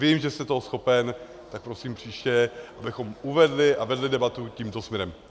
Vím, že jste toho schopen, tak prosím příště, abychom uvedli a vedli debatu tímto směrem.